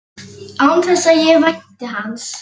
Gói, lækkaðu í græjunum.